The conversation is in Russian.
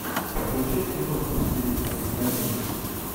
включай киношку в стилистике комедии